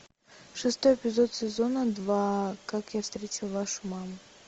шестой эпизод сезона два как я встретил вашу маму